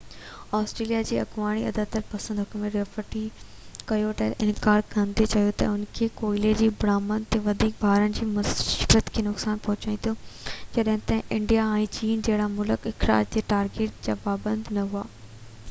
Australia جي اڳوڻي اعتدال پسند حڪومت ريٽيفائي ڪيوٽو کي انڪار ڪندي چيو ته اهو ڪوئلي جي برآمد تي وڌيڪ ڀاڙڻ سان معيشت کي نقصان پهچائيندو جڏهن ته انڊيا ۽ چين جهڙا ملڪ اخراج جي ٽارگيٽ جا پابند نه هئا